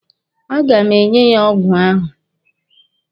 A ga m enye ya ọgwụ ahụ.